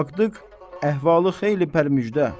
Baxdıq, əhvalı xeyli pərmücdə.